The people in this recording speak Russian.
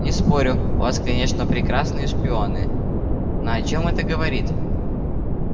не спорю у вас конечно прекрасные шпионы но о чем это говорит